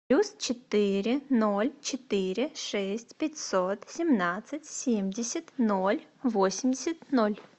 плюс четыре ноль четыре шесть пятьсот семнадцать семьдесят ноль восемьдесят ноль